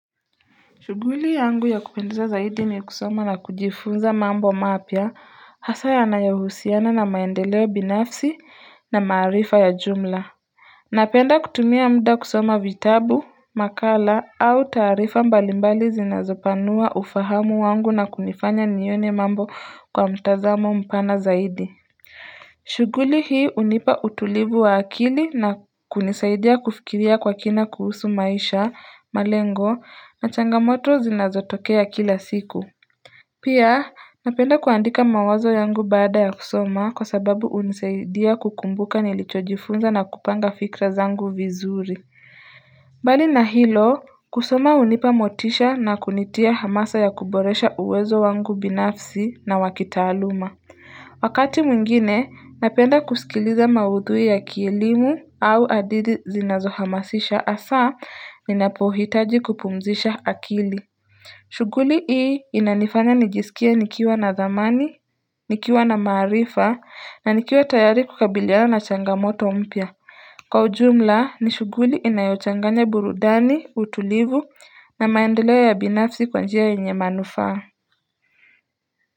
Shughuli yangu ya kupendeza zaidi ni kusoma na kujifunza mambo mapya hasaa yanayohusiana na maendeleo binafsi na maarifa ya jumla Napenda kutumia muda kusoma vitabu, makala au taarifa mbalimbali zinazopanua ufahamu wangu na kunifanya nione mambo kwa mtazamo mpana zaidi shughuli hii hunipa utulivu wa akili na kunisaidia kufikiria kwa kina kuhusu maisha, malengo, na changamoto zinazotokea kila siku Pia, napenda kuandika mawazo yangu bada ya kusoma kwa sababu hunisaidia kukumbuka nilichojifunza na kupanga fikra zangu vizuri Bali na hilo, kusoma hunipa motisha na kunitia hamasa ya kuboresha uwezo wangu binafsi na wakitaaluma Wakati mwingine napenda kusikiliza mauthui yakielimu au hadithi zinazohamasisha hasaa ninapohitaji kupumzisha akili shughuli hii inanifanya nijisikia nikiwa na dhamani, nikiwa na maarifa na nikiwa tayari kukabilia na changamoto mpya Kwa ujumla ni shughuli inayochanganya burudani, utulivu na maendeleo ya binafsi kwanjia yenye manufaa.